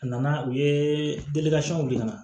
A nana u ye yiran